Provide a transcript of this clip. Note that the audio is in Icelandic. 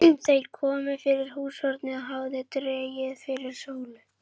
Er þeir komu fyrir húshornið hafði dregið fyrir sólu.